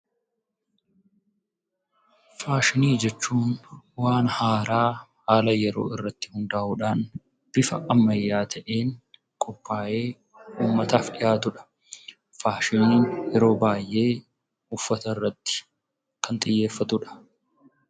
Faashinii jechuun waan haaraa haala yeroo irratti hundaa'uudhaan bifa ammayyaa ta'een qophaayee uummataaf dhiyaatudha. Faashiniin yeroo baay'ee uffata irratti kan xiyyeeffatudha.